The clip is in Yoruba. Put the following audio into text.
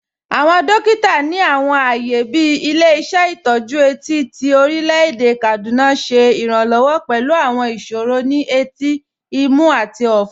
Awọn dòkìtà ni awọn ààyè bí Ilẹ̀-ìṣẹ̀ Itọju Eti ti Orílẹ̀-èdè Kaduna ṣẹ iránlọ́wọ̀ pẹ̀lú awọn ìṣòro ni ètí, ìmú, àti ọ̀fún.